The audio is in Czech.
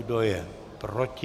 Kdo je proti?